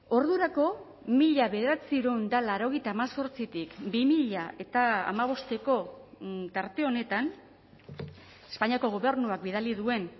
ordurako mila bederatziehun eta laurogeita hemezortzitik bi mila hamabosteko tarte honetan espainiako gobernuak bidali duen